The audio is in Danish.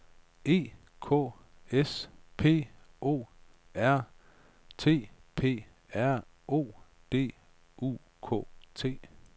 E K S P O R T P R O D U K T